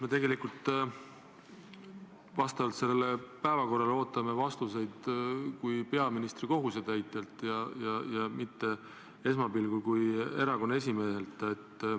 Me tegelikult vastavalt päevakorrale ootame teilt vastuseid kui peaministri kohusetäitjalt ja mitte kui erakonna esimehelt.